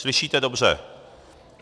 Slyšíte dobře.